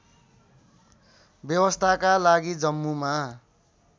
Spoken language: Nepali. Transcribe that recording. व्यवस्थाका लागि जम्मूमा